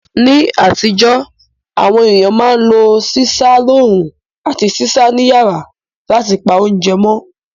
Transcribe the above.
Ní àtíjó, àwon ééyàn ma n lo sísá loorún àti sísá ni yàrá látipa ounje mó